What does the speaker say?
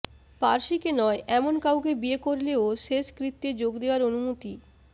পার্সিকে নয় এমন কাউকে বিয়ে করলেও শেষকৃত্যে যোগ দেওয়ার অনুমতি